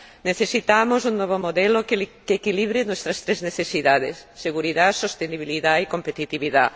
Necesitamos un nuevo modelo que equilibre nuestras tres necesidades seguridad, sostenibilidad y competitividad.